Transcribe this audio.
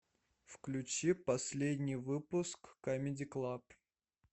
включи последний выпуск камеди клаб